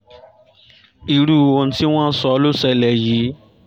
irú ohun tí wọ́n sọ ló ṣẹlẹ̀ yìí